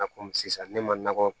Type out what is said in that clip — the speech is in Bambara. Na komi sisan ne mako